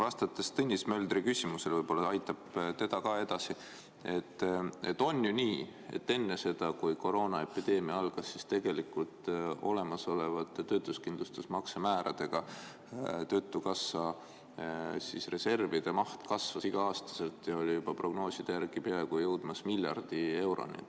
Vastates Tõnis Möldri küsimusele – võib-olla aitab teda ka edasi –, on ju nii, et enne seda, kui koroonaepideemia algas, siis tegelikult olemasolevate töötuskindlustusmakse määradega töötukassa reservide maht kasvas iga-aastaselt ja oli juba prognooside järgi peaaegu jõudmas miljardi euroni.